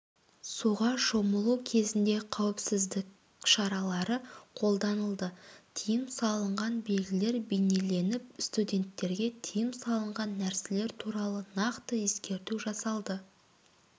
суға шомылу кезінде қауіпсіздік шаралары қолданылды тыйым салынған белгілер бейнеленіп студенттерге тыйым салынған нәрселер туралы нақты ескерту жасалды